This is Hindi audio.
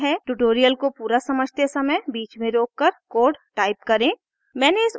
ट्यूटोरियल को पूरा समझते समय बीच में रोककर कोड टाइप करें